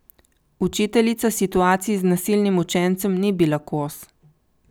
Učiteljica situaciji z nasilnim učencem ni bila kos.